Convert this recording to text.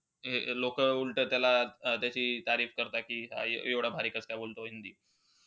हे लोक उलट त्याला त्याची करतात कि एव्हडं भारी कसकाय बोलतो हिंदी.